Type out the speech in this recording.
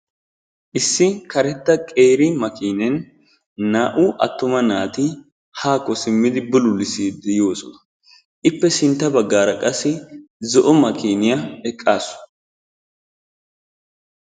Issi karettaa qeeri makkiineen naa"u attuma naati haakko simmidi bululissiidi yoosona. Ippe sinttaa bagaara qassi zo"o makkiiniya eqaasu.